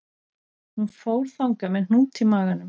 Hún fór þangað með hnút í maganum